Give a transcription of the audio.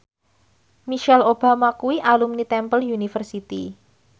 Michelle Obama kuwi alumni Temple University